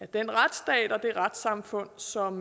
den retsstat og det retssamfund som